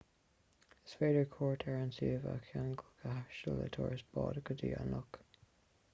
is féidir cuairt ar an suíomh a cheangal go háisiúil le turas báid go dtí an loch